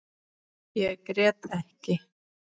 Ég grét ekki.